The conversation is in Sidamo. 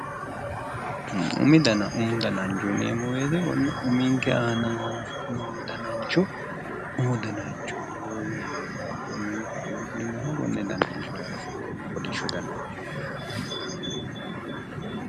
Umu dananicho umu dananichooti yineemo woyite konne umunike aana noo dananicho umu dananicho yineemo yaate umunike aana fulinooha konne kolisho dananicho yaate